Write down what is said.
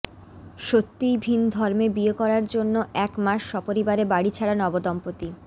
সত্যিই ভিন ধর্মে বিয়ে করার জন্য এক মাস সপরিবারে বাড়ি ছাড়া নবদম্পতি